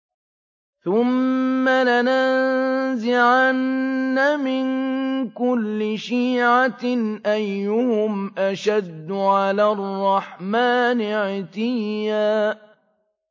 ثُمَّ لَنَنزِعَنَّ مِن كُلِّ شِيعَةٍ أَيُّهُمْ أَشَدُّ عَلَى الرَّحْمَٰنِ عِتِيًّا